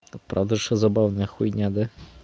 и правда что забавная хуйня да